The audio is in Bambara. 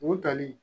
U tali